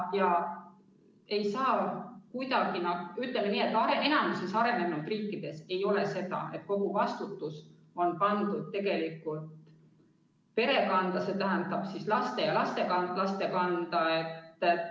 Ütleme, nii et enamikus arenenud riikides ei ole nii, et kogu vastutus on pandud perekonna, st laste ja lastelaste kanda.